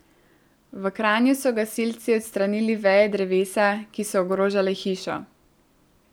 V Kranju so gasilci odstranili veje drevesa, ki so ogrožale hišo.